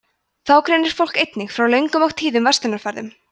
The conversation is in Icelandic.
þá greinir fólk einnig frá löngum og tíðum verslunarferðum